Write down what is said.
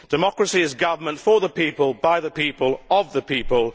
Democracy is government for the people by the people of the people.